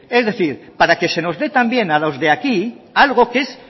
es decir para que se nos dé también a los de aquí algo que es